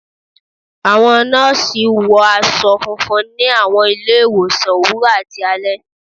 Àwọn nọ́ọ̀sí wọ aṣọ funfun ni àwọn ilé-ìwòsàn òwúrọ̀ àti alẹ́